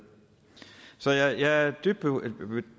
så jeg er